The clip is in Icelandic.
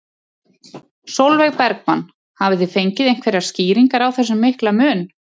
Sólveig Bergmann: Hafið þið fengið einhverjar skýringar á þessum mikla mun?